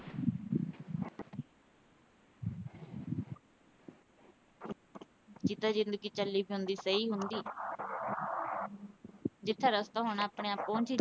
ਜਿੱਦਾਂ ਜ਼ਿੰਦਗੀ ਚੱਲੀ ਜਾਂਦੀ ਸਹੀ ਹੁੰਦੀ ਜਿਥੇ ਰਸਤਾ ਹੁੰਦਾ ਆਪਣੇ ਆਪ ਪਹੁੰਚ ਈ ਜਾਣਾ।